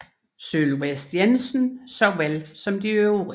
Sylvest Jensen såvel som de øvrige